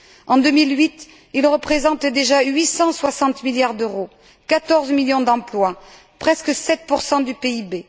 En 2008, il représentait déjà 860 milliards d'euros, 14 millions d'emplois, presque 7 du PIB.